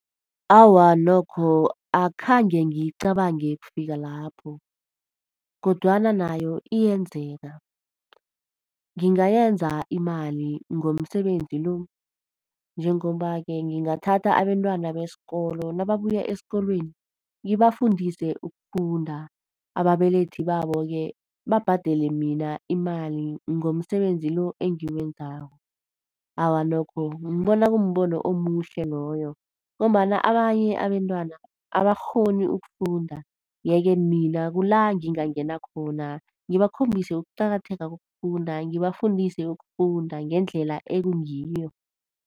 Awa nokho, akhange ngiyicabange kufikalapho. Kodwana nayo iyenzeka. Ngingayenza imali ngomsebenzi lo. Njengoba-ke ngingathatha abentwana besikolo nababuya esikolweni ngibafundise ukufunda, ababelethi baboke babhadele mina imali ngomsebenzi lo engiwenzako. Awa nokho, ngibona kumbono omuhle loyo, ngombana abanye abentwana abakghoni ukufunda. Yeke mina kula ngingangena khona ngibakhombise ukuqakatheka kokufunda, ngibafundise ukufunda ngendlela ekungiyo.